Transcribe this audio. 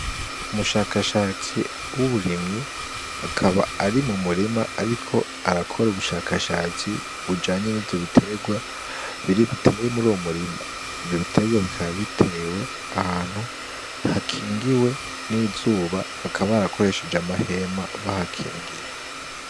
Umushakashatsi w'uburimyi akaba ari mu murima, ariko arakora ubushakashatsi bujanye n'ivyo biterwa bitewe muri uyo murima. Ivyo biterwa bikaba bitewe ahantu hakingiwe n'izuba, bakaba barakoresheje amahema bahakingira.